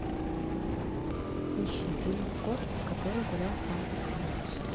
ищи фильм кот который гулял сам по себе